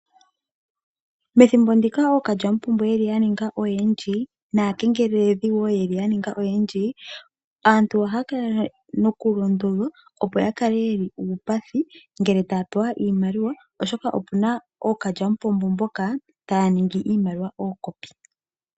Methimbo ndika ookalyamupombo yeli ya ninga oyendji naakengeleldhi wo yeli ya ninga oyendji aantu ohaya kala nokulondodhwa opo ya kale yeli uupathi ngele taya pewa iimaliwa oshoka opu na ookalyamupombo mboka taya niingi iimaliwa yaafele.